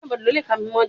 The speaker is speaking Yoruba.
Béèni, mo n gun ìgi àgbọn